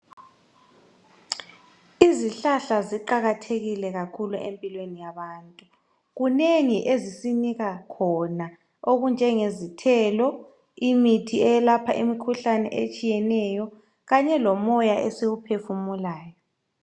Izihlahla ziqakathekile kakhulu empilweni yabantu. Kunengi ezisinika khona okunjengezithelo imithi eyelapha imikhuhlane etshiyeneyo kanye lomoya esiwuphefumulayo.